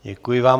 Děkuji vám.